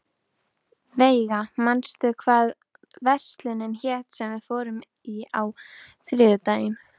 Veiga, manstu hvað verslunin hét sem við fórum í á þriðjudaginn?